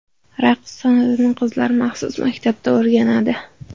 Raqs san’atini qizlar maxsus maktablarda o‘rganadi.